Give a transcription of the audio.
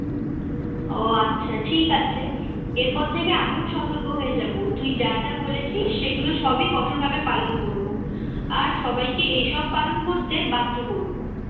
ও আচ্ছা ঠিক আছে এরপর থেকে আমিও সতর্ক হয়ে যাব তুই যা যা বলেছিস সেগুলো সবই কঠোর ভাবে পালন করব আর সবাইকে এসব পালন করতে বাধ্য করব